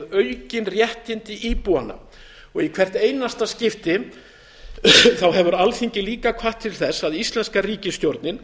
aukin réttindi íbúanna og í hvert einasta skipti hefur alþingi líka hvatt til þess að íslenska ríkisstjórnin